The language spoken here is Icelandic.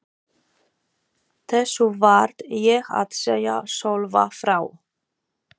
Þessu varð ég að segja Sölva frá.